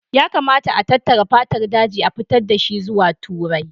Ya kamata a tattara fatar zaki, a fitar da shi zuwa Turai